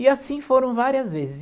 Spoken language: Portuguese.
E assim foram várias vezes.